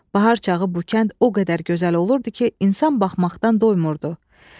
Bahar çağı bu kənd o qədər gözəl olurdu ki, insan baxmaqdan doymurdu.